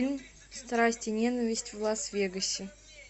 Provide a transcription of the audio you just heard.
страсть и ненависть в лас вегасе